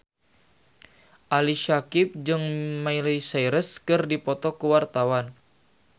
Ali Syakieb jeung Miley Cyrus keur dipoto ku wartawan